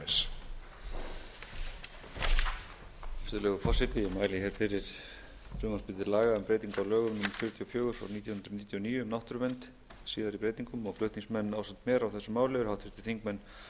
á lögum númer fjörutíu og fjögur nítján hundruð níutíu og níu um náttúruvernd með síðari breytingum flutningsmenn ásamt mér á þessu máli eru háttvirtir þingmenn